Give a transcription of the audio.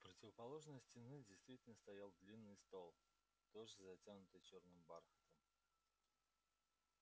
у противоположной стены действительно стоял длинный стол тоже затянутый чёрным бархатом